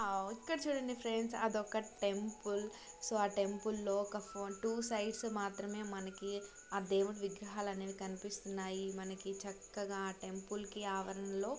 ఆ ఒక్కటి చూడండి ఫ్రెండ్స్ అది ఒక టెంపుల్ . సో ఆ టెంపుల్ లో ఒక టూ సైడ్స్ మాత్రమే మనకి ఆ దేవుడు విగ్రహాల అనేవి కనిపిస్తున్నాయి. మనకి చక్కగా ఆ టెంపుల్ కి ఆవరణలో--